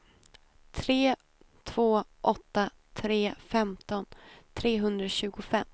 tre två åtta tre femton trehundratjugofem